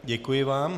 Děkuji vám.